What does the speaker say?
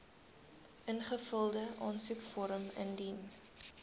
ingevulde aansoekvorm indien